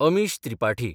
Amish Tripathi